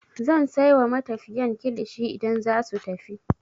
Zan sai wa matafiyan kilishi idan zasu tafi.